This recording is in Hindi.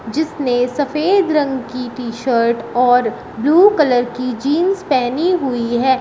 जिसने सफेद रंग की टी शर्ट और ब्ल्यू कलर की जींस पहनी हुई है।